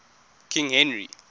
king henry